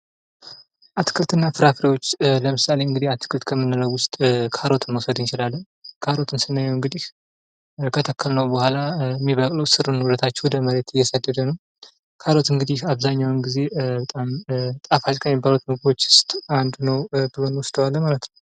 አትክልትና ፍራፍሬዎች ለምሳሌ እንግዲህ አትክልት ከምንለዉ ዉስጥ ካሮትን መዉሰድ እንላችለን። ካሮት ስናየዉ እንግዲህ ከተከልነዉ በኋላ የሚበቅለዉ ስሩን ወደ ታች ወደ መሬት እየሰደደ ነዉ። ካሮት እንግዲህ አብዛኛዉን ጊዜ ጣፋጭ በመባል ከሚታወቁ ምግቦች እንመድበዋለን ማለት ነዉ።